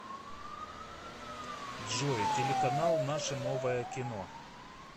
джой телеканал наше новое кино